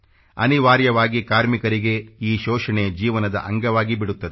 ಅನಿವಾರ್ಯವಾಗಿ ಕಾರ್ಮಿಕರಿಕರಿಗೆ ಈ ಶೋಷಣೆ ಜೀವನದ ಅಂಗವಾಗಿ ಬಿಡುತ್ತದೆ